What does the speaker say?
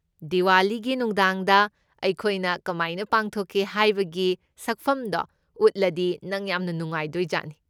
ꯗꯤꯋꯥꯂꯤꯒꯤ ꯅꯨꯡꯗꯥꯡꯗ ꯑꯩꯈꯣꯏꯅ ꯀꯃꯥꯏꯅ ꯄꯥꯡꯊꯣꯛꯀꯦ ꯍꯥꯏꯕꯒꯤ ꯁꯛꯐꯝꯗꯣ ꯎꯠꯂꯗꯤ ꯅꯪ ꯌꯥꯝꯅ ꯅꯨꯡꯉꯥꯏꯗꯣꯏꯖꯥꯠꯅꯤ꯫